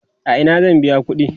a Ina zan biya ƙuɗi?